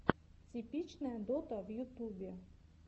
типичная дота в ютубе